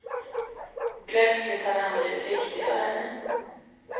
Plötsligt hade han blivit viktig för henne.